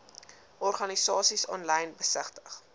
organisasies aanlyn besigtig